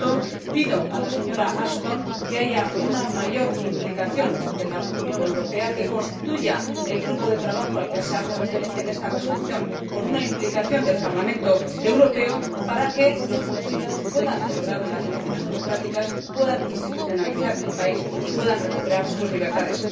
Por tanto, pido a la señora Ashton que haya una mayor implicación de la Unión Europea, que constituya el grupo de trabajo al que se hace referencia en esta resolución, con una implicación del Parlamento Europeo, para que los tunecinos puedan celebrar las elecciones democráticas, puedan institucionalizar el país y puedan recuperar sus libertades.